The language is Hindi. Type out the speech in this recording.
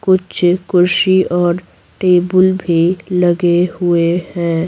कुछ कुर्शी और टेबल भी लगे हुए हैं।